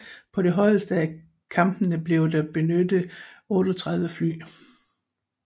På det højeste af kampene blev der benyttet 38 fly